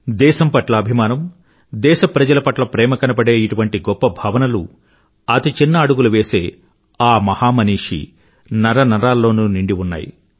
దేశం పట్ల అభిమానం దేశప్రజల పట్ల ప్రేమ కనబడే ఇటువంటి గొప్ప భావనలు అతి చిన్న అడుగులు వేసే ఆ మహామనీషి నరనరాల్లోనూ నిండి ఉన్నాయి